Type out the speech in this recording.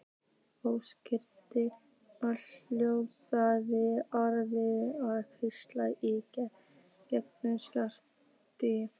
Óskiljanlegum og ógnandi orðum var hvíslað í gegnum skráargati.